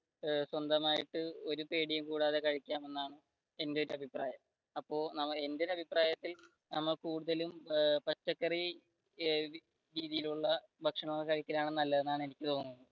സ്വന്തമായിട്ട് ഒരു പേടിയും കൂടാതെ കഴിക്കാം എന്നാണ് എന്റെ ഒരു അഭിപ്രായം. അപ്പൊ എന്റെ ഒരു അഭിപ്രായത്തിൽ നമ്മൾ കൂടുതലും പച്ചക്കറി രീതിയിലുള്ള ഭക്ഷണം കഴിക്കുന്നതാണ് നല്ലതെന്ന് എനിക്ക് തോന്നുന്നത്